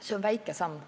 See on väike samm.